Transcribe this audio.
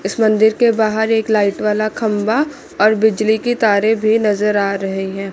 इस मंदिर के बाहर एक लाइट वाला खंभा और बिजली की तारें भी नजर आ रहे हैं।